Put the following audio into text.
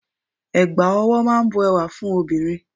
Ẹ̀gbà ọwọ́ máa ń bu ẹwà fún obìnrin.